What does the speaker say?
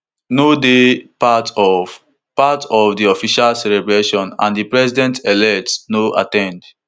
no dey part of part of di official celebrations and di presidentelect no at ten d